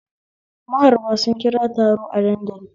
Maharba sun kira taro a dandali